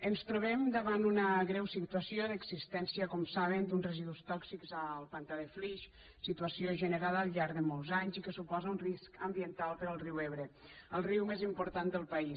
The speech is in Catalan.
ens trobem davant una greu situació d’existència com saben d’uns residus tòxics al pantà de flix situació generada al llarg de molts anys i que suposa un risc ambiental per al riu ebre el riu més important del país